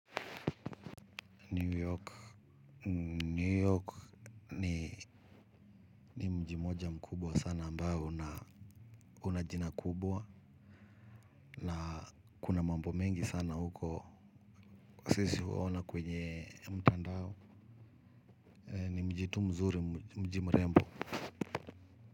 New York, New York ni ni mji mmoja mkubwa sana ambao una jina kubwa na kuna mambo mengi sana huko sisi huona kwenye mtandao, ni mji tu mzuri mji mrembo.